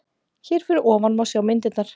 Hér fyrir ofan má sjá myndirnar